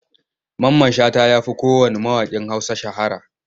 Mamman Shata ya fi kowanne mawaƙin Hausa shahara.